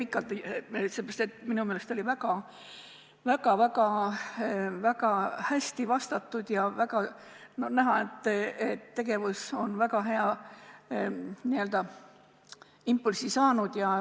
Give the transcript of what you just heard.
Ma ei tee pikalt, seepärast, et minu meelest sai arupärimisele väga hästi vastatud ja oli näha, et tegevus on väga hea impulsi saanud.